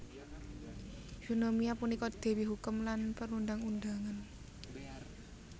Eunomia punika dewi hukum lan perundang undangan